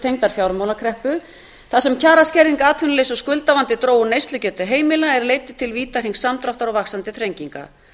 tengdrar fjármálakreppu þar sem kjaraskerðing atvinnuleysi og skuldavandi drógu neyslugetu heimila er leiddu til vítahrings samdráttar og vaxandi þrenginga